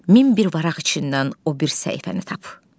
Min bir varağ içindən o bir səhifəni tap.